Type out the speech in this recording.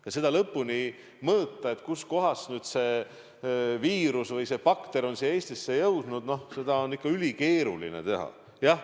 Aga seda täpselt mõõta, kust kohast seda viirust on siia Eestisse kõige rohkem jõudnud – seda on ikka ülikeeruline teha.